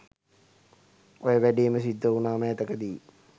ඔය වැඩේම සිද්ද වුනා මෑතක දී.